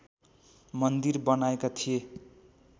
मन्दिर बनाएका थिए